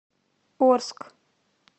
орск